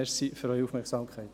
Danke für Ihre Aufmerksamkeit.